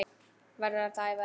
Verður alla ævi að leita.